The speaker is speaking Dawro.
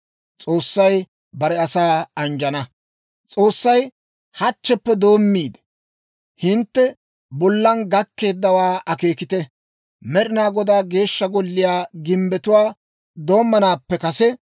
S'oossay, «Hachcheppe doommiide, hintte bollan gakkeeddawaaa akeekite! Med'inaa Godaa Geeshsha Golliyaa gimbbetuwaa doommanaappe kase,